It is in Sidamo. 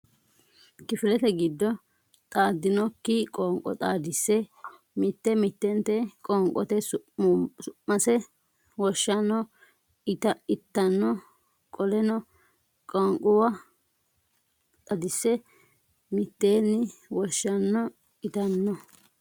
Kifilete giddo qaaqqikki okki Qoonqo xaadise sse mitte mittente qoonqota su mase woshshanno itanno Qoleno qoonquwa xaadise sse mitteenni woshshanno itanno.